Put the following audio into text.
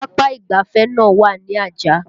Papa ìgbáfẹ́ náà wà ní Ajah